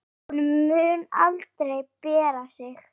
Hún mun aldrei bera sig.